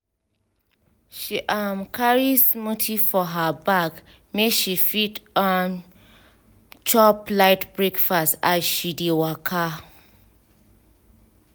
she um carry smoothie for her bag make she fit um chop light breakfast as she dey waka.